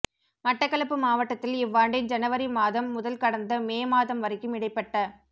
மட்டக்களப்பு மாவட்டத்தில் இவ்வாண்டின் ஜனவரி மாதம் முதல் கடந்த மே மாதம் வரைக்கும் இடைப்பட்ட